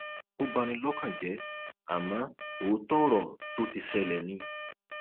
ó bá ní lọkàn jẹ àmọ òótọ ọrọ tó ti ṣẹlẹ ni